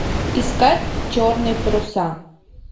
искать черные паруса